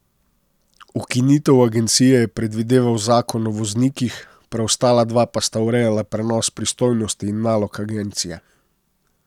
Ukinitev agencije je predvideval zakon o voznikih, preostala dva pa sta urejala prenos pristojnosti in nalog agencije.